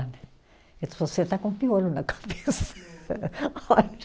você está com piolho na cabeça.